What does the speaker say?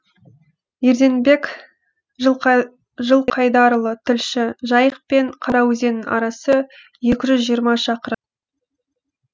ерденбек жылқайдарұлы тілші жайық пен қараөзеннің арасы екі жүз жиырма шақырым